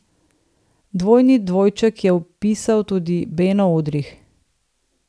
Dvojni dvojček je vpisal tudi Beno Udrih.